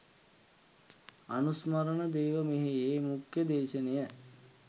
අනුස්මරණ දේවමෙහෙයේ මුඛ්‍ය දේශනය